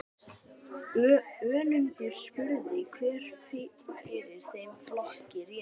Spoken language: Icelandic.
Önundur spurði hver fyrir þeim flokki réði.